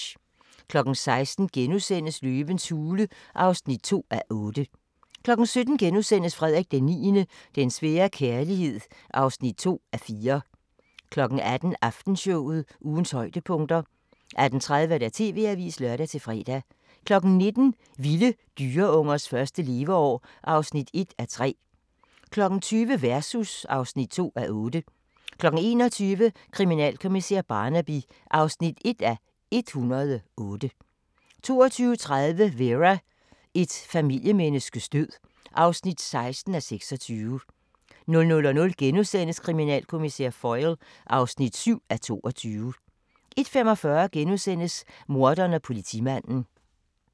16:00: Løvens hule (2:8)* 17:00: Frederik IX – den svære kærlighed (2:4)* 18:00: Aftenshowet – ugens højdepunkter 18:30: TV-avisen (lør-fre) 19:00: Vilde dyreungers første leveår (1:3) 20:00: Versus (2:8) 21:00: Kriminalkommissær Barnaby (1:108) 22:30: Vera: Et familiemenneskes død (16:26) 00:00: Kriminalkommissær Foyle (7:22)* 01:45: Morderen og politimanden *